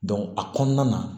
a kɔnɔna na